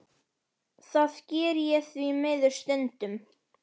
Það geri ég því miður stundum.